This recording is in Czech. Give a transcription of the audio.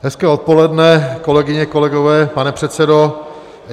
Hezké odpoledne, kolegyně, kolegové, pane předsedo.